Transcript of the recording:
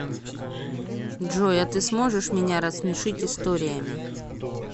джой а ты сможешь меня рассмешить историями